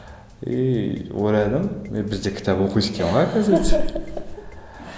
и ойладым өй бізде кітап оқиды екен ғой оказывается